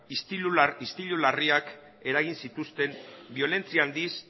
istilu larriak eragin zituzten biolentzia handiz